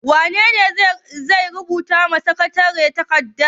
Wane ne zai rubuta wa sakatare takarda?